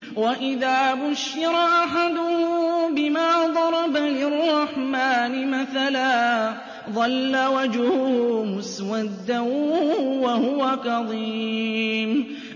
وَإِذَا بُشِّرَ أَحَدُهُم بِمَا ضَرَبَ لِلرَّحْمَٰنِ مَثَلًا ظَلَّ وَجْهُهُ مُسْوَدًّا وَهُوَ كَظِيمٌ